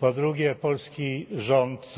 Po drugie polski rząd